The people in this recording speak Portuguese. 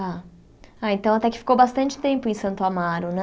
Tá ah, então até que ficou bastante tempo em Santo Amaro, né?